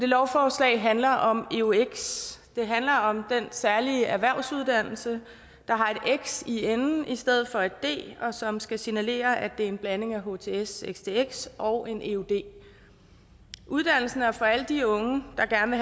lovforslaget handler om eux det handler om den særlige erhvervsuddannelse der har et x i enden i stedet for et d og som skal signalere at det er en blanding af htx stx og en eud uddannelsen er for alle de unge der gerne